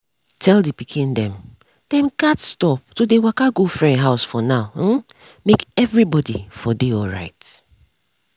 tell the pikin dem dem gats stop to dey waka go friend house for now um make everybody for dey alright.